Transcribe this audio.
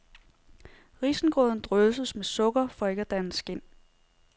Risengrøden drysses med sukker, for ikke at danne skind.